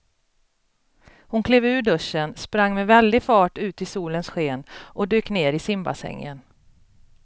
Hon klev ur duschen, sprang med väldig fart ut i solens sken och dök ner i simbassängen.